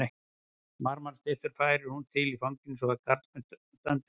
Marmarastyttur færir hún til í fanginu svo að karlmenn standa á öndinni af undrun.